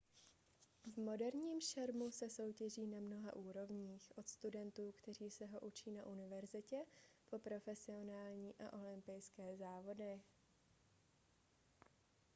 v moderním šermu se soutěží na mnoha úrovních od studentů kteří se ho učí na univerzitě po profesionální a olympijské závody